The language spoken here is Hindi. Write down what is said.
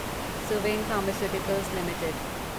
Suven pharmaceuticals limited